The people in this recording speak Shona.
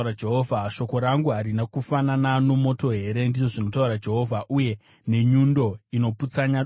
“Shoko rangu harina kufanana nomoto here,” ndizvo zvinotaura Jehovha, “uye nenyundo inoputsanya dombo?”